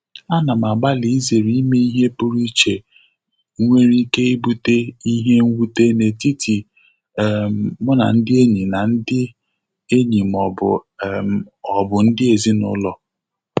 Ana m agbalị izere ime ihe pụrụ iche nwere ike ibụte ihe nwute n'etiti um mu na ndị enyi na ndị enyi ma um ọ bụ ndị ezinụlọ.